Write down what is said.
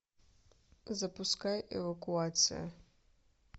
запускай эвакуация